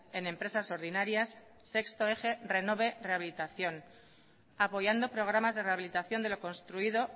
en empresas ordinarias sexto eje renove rehabilitación apoyando programas de rehabilitación de lo construido